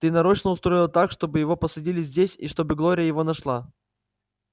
ты нарочно устроил так чтобы его посадили здесь и чтобы глория его нашла